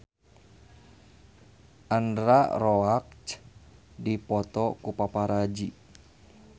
Alexandra Roach dipoto ku paparazi